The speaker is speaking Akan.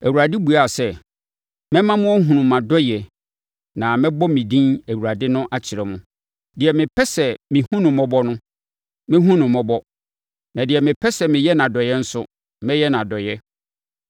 Awurade buaa sɛ, “Mɛma mo ahunu mʼadɔeɛ na mɛbɔ me din Awurade no akyerɛ mo. Deɛ mepɛ sɛ mehunu no mmɔbɔ no, mɛhunu no mmɔbɔ, na deɛ mepɛ sɛ meyɛ no adɔeɛ nso, mɛyɛ no adɔeɛ.